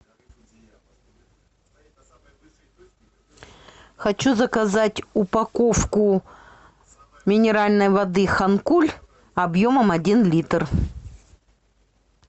хочу заказать упаковку минеральной воды ханкуль объемом один литр